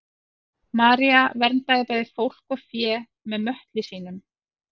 maría verndaði bæði fólk og fé með möttli sínum